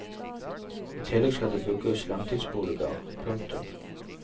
I tillegg skal det bygges langtidsboliger. punktum